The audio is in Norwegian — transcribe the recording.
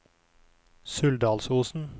Suldalsosen